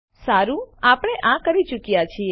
સારું આપણે આ કરી ચુક્યાં છીએ